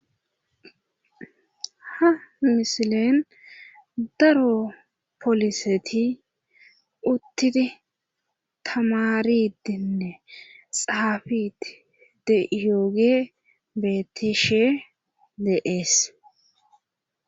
Ha mishileen daro poliseti uttidi tamaridinne xaafiti deiyooge bettishe deees